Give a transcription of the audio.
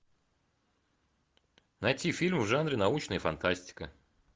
найти фильм в жанре научная фантастика